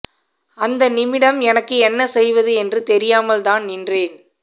அந்த நிமிடம் எனக்கு என்ன செய்வது என்று தெரியாமல் தான் நின்றேன்